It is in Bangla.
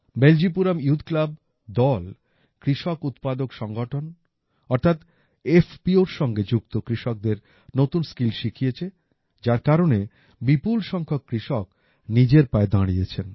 বেলজিপুরাম ইউথ ক্লাব দল কৃষক উৎপাদক সংগঠন অর্থাৎ FPOর সঙ্গে যুক্ত কৃষকদের নতুন স্কিল শিখিয়েছে যার কারণে বিপুল সংখ্যক কৃষক নিজের পায়ে দাঁড়িয়েছেন